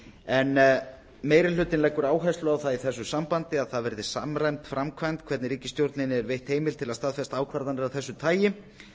en meiri hlutinn leggur áherslu á það í þessu sambandi að það verði samræmd framkvæmd hvernig ríkisstjórninni er veitt heimild til að staðfesta ákvarðanir af þessu tagi